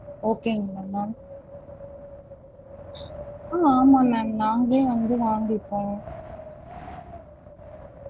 Okay ங்களா ma'am? ஆஹ் ஆமாம் ma'am நாங்களே வந்து வாங்கிப்போம்